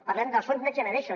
parlem dels fons next generation